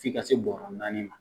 F'i ka se bɔrɔ naani ma.